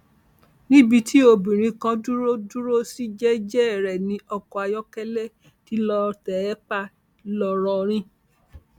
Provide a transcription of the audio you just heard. níbi tí obìnrin kan dúró dúró sí jẹẹjẹ rẹ ní ọkọ ayọkẹlẹ tí lóò tẹ ẹ pa ńlọrọrìn